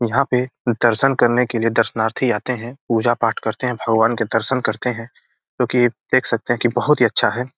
यहां पे दर्शन करने के लिए दर्शनार्थी आते है पूजा पाठ करते है भगवान के दर्शन करते हैं क्यूंकि देख सकते है की बहुत ही अच्छा है।